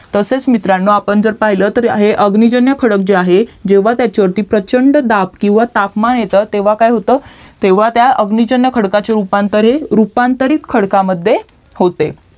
तसेच मित्रांनो आपण जर पहिलं तर हे अग्निजन्य खडक जे आहे ते जेव्हा त्याच्यावरती प्रचंड दाब किवा तापमान येतं तेव्हा काय होत तेव्हा त्या अग्निजन्य खडकाचे रूपांतर हे रूपांतरित खडकामध्ये होते